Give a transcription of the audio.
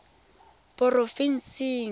porofensing